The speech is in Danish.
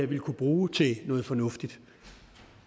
vil kunne bruge til noget fornuftigt